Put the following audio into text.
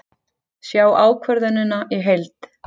Sjá ákvörðunina í heild